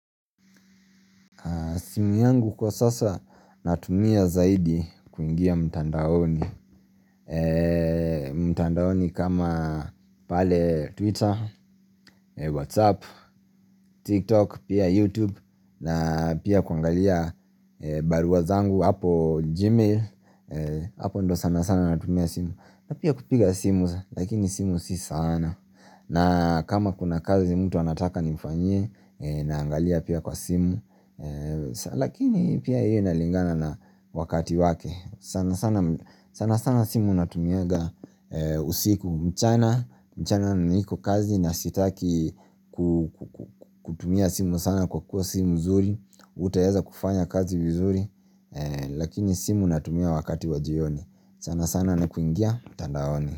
Simu yangu kwa sasa natumia zaidi kuingia mtandaoni mtandaoni kama pale twitter, whatsapp, tiktok, pia youtube na pia kuangalia barua zangu hapo gmail Hapo ndo sana sana natumia simu na pia kupiga simu lakini simu si sana na kama kuna kazi mtu anataka nimfanyie naangalia pia kwa simu Lakini pia hiyo inalingana na wakati wake sanasana sana sana simu natumiaga usiku mchana mchana niko kazi na sitaki kutumia simu sana kwa kuwa simu mzuri Utaeza kufanya kazi vizuri Lakini simu natumia wakati wajioni sana sana na kuingia mtandaoni.